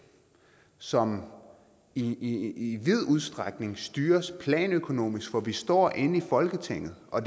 som i i vid udstrækning styres planøkonomisk hvor vi står inde i folketinget og